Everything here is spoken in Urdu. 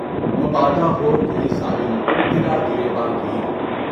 مبادا ہو کوئی ظالم تیرا گریباں گیر ہو۔